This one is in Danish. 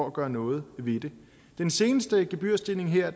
at gøre noget ved det den seneste gebyrstigning her